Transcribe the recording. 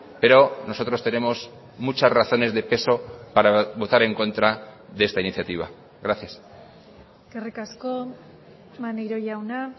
pero nosotros tenemos muchas razones de peso para votar en contra de esta iniciativa gracias eskerrik asko maneiro jauna